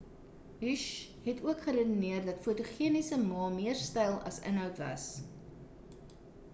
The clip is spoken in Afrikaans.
hsieh het ook geredeneer dat die fotogeniese ma meer styl as inhoud was